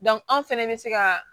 anw fɛnɛ bɛ se ka